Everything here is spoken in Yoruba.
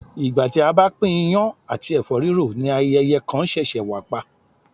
Ìgbà tí a bá pín iyán àti ẹ̀fọ́ rírò ni ayẹyẹ kan ṣẹ̀ṣẹ̀ wà pa